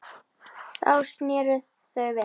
Þá sneru þau við.